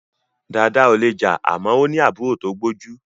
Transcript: Dada ò lè jà àmọ́ ó ní àbúrò tó gbójú.